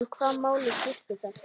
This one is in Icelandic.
En hvaða máli skiptir það?